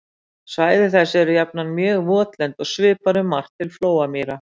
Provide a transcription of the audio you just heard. Svæði þessi eru jafnan mjög votlend og svipar um margt til flóamýra.